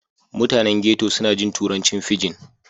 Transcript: Mutanen ghetto suna jin turancin fijin.